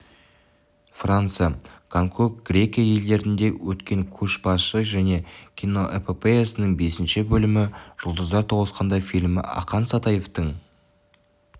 франция гонконг грекия елдерінде өткен көшбасшы жолы киноэпопеясының бесінші бөлімі жұлдыздар тоғысқанда фильмі ақан сатаевтың